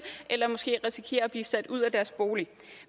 eller måske risikerer at blive sat ud af deres bolig